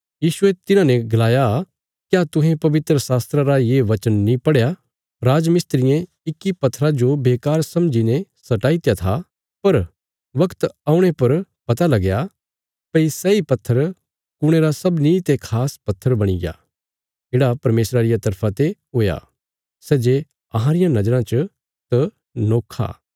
यीशुये तिन्हाने गलाया क्या तुहें पवित्रशास्त्रा रा ये बचन नीं पढ़या राजमिस्त्रियें इक्की पत्थरा जो बेकार समझीने सटाईत्या था पर वगत औणे पर पता लगया भई सैई पत्थर कुणे रा सबनीं ते खास पत्थर बणीग्या येढ़ा परमेशरा रिया तरफा ते हुया सै जे अहां रियां नज़राँ च त नोखा